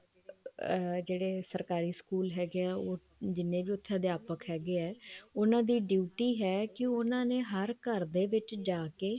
ਅਮ ਜਿਹੜੇ ਸਰਕਾਰੀ ਸਕੂਲ ਹੈਗੇ ਆ ਉਹ ਜਿੰਨੇ ਵੀ ਉੱਥੇ ਅਧਿਆਪਕ ਹੈਗੇ ਆ ਉਹਨਾ ਦੀ duty ਹੈ ਕੀ ਉਹਨਾ ਨੇ ਹਰ ਘਰ ਦੇ ਵਿੱਚ ਜਾ ਕੇ